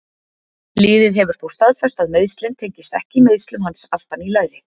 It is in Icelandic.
Liðið hefur þó staðfest að meiðslin tengist ekki meiðslum hans aftan í læri.